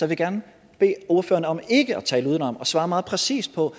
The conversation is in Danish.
vil gerne bede ordføreren om ikke at tale udenom og svare meget præcist på